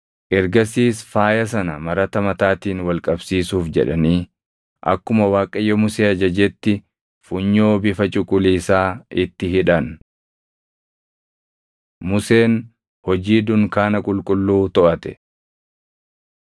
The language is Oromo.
Ergasiis faaya sana marata mataatiin wal qabsiisuuf jedhanii akkuma Waaqayyo Musee ajajetti funyoo bifa cuquliisaa itti hidhan. Museen Hojii Dunkaana Qulqulluu Toʼate 39:32‑41 kwf – Bau 35:10‑19